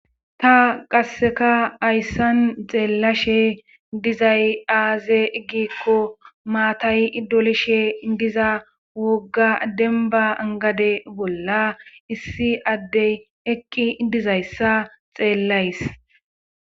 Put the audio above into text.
ta qasseka hayssan xeellashe dizay aaze gikko maatay dolishe diza wogga denba gade bolla issi addey eqqi dizayssa xeellays